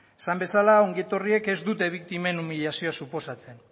esan bezala ongi etorriek ez dute biktimen umilazioa suposatzen